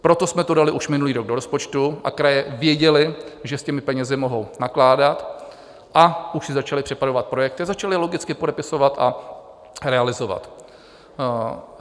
Proto jsme to dali už minulý rok do rozpočtu a kraje věděly, že s těmi penězi mohou nakládat, a už si začaly připravovat projekty, začaly logicky podepisovat a realizovat.